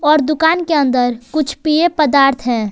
और दुकान के अंदर कुछ पेय पदार्थ है।